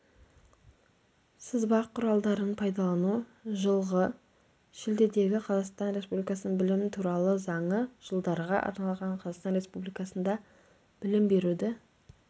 сызба құралдарын пайдалану жылғы шілдедегі қазақстан республикасының білім туралы заңы жылдарға арналған қазақстан республикасында білім беруді